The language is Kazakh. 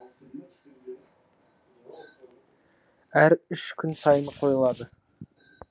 әр үш күн сайын қойылады